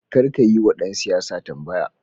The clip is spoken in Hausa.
Karka yiwa ɗan siyasa tambaya.